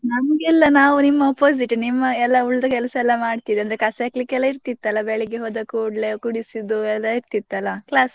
ನಮ್ಗೆಲ್ಲಾ ನಾವು ನಿಮ್ಮ opposite ನಿಮ್ಮ ಎಲ್ಲಾ ಉಳ್ದ ಕೆಲ್ಸ ಎಲ್ಲಾ ಮಾಡ್ತಿದ್ವಿ ಅಂದ್ರೆ ಕಸ ಹೆಕ್ಲಿಕ್ಕೆ ಎಲ್ಲಾ ಇರ್ತಿತ್ತಲ್ಲ ಬೆಳಿಗ್ಗೆ ಹೋದ ಕೂಡ್ಲೇ ಗುಡಿಸುದು ಅದೆಲ್ಲ ಇರ್ತಿತ್ತಲ್ಲ class ಅನ್ನು.